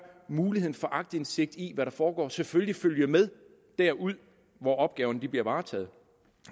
muligheden for aktindsigt i hvad der foregår selvfølgelig følge med derud hvor opgaverne bliver varetaget